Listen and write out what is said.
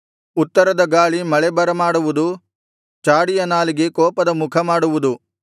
ಉತ್ತರದ ಗಾಳಿ ಮಳೆ ಬರಮಾಡುವುದು ಚಾಡಿಯ ನಾಲಿಗೆ ಕೋಪದ ಮುಖ ಮಾಡುವುದು